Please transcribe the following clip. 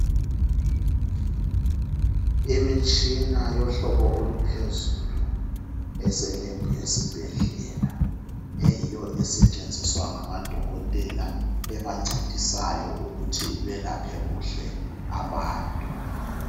imitshina yohlobo oluphezulu eselebhu yesibhedlela eyiyo esetshenziswa ngama dokotela ebancedisayo ukuthi belaphe kuhle abantu